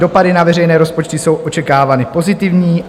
Dopady na veřejné rozpočty jsou očekávány pozitivní.